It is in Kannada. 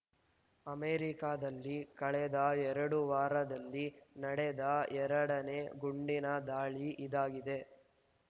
ಅಮೆರಿಕದಲ್ಲಿ ಕಳೆದ ಎರಡು ವಾರದಲ್ಲಿ ನಡೆದ ಎರಡನೇ ಗುಂಡಿನ ದಾಳಿ ಇದಾಗಿದೆ